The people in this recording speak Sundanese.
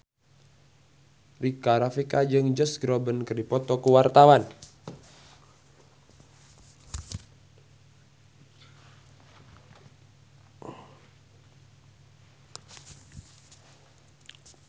Rika Rafika jeung Josh Groban keur dipoto ku wartawan